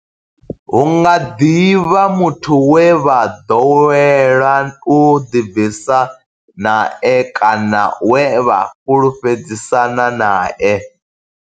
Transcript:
Hu nga ḓi vha muthu we vha ḓowela u ḓibvisa nae kana we vha fhulufhedzisana nae.